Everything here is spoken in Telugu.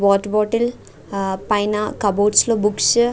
వాటర్ బోటిల్ ఆ పైన కబోర్డ్స్ లో బుక్స్ --